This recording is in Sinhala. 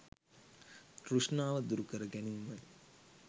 තෘෂ්ණාව දුරුකර ගැනීමයි.